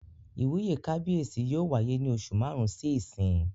Ìwúyè kábíyèsí yóò wáyé ní oṣù màrún sí ìsín